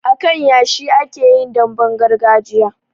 A kan yashi ake yin damben gargajiya